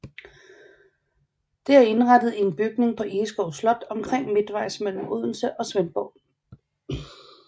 Det er indrettet i en bygning på Egeskov Slot omtrent midtvejs mellem Odense og Svendborg